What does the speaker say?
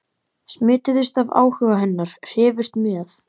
smituðust af áhuga hennar, hrifust með.